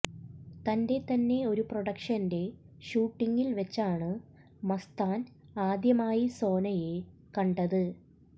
തന്റെ തന്നെ ഒരു പ്രൊഡക്ഷന്റെ ഷൂട്ടിങ്ങിൽ വെച്ചാണ് മസ്താൻ ആദ്യമായി സോനയെ കണ്ടത്